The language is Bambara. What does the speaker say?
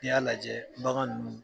N'i y'a lajɛ bagan ninnu